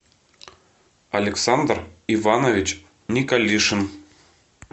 александр иванович николишин